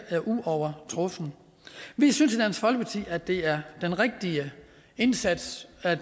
uovertruffent vi synes i dansk folkeparti at det er den rigtige indsats at